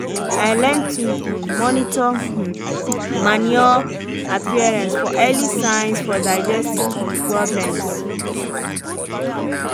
i learn to um monitor um manure appearance for early signs for digestive um problems